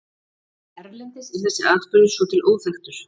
Erlendis er þessi atburður svo til óþekktur.